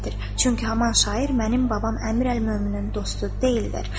Çünki haman şair mənim babam Əmir əl-Möminin dostu deyildir.